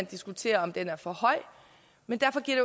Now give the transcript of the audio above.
diskutere om den er for høj men derfor giver